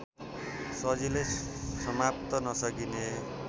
सजिलै समात्न नसकिने